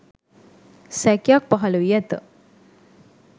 සැකයක් පහළ වී ඇත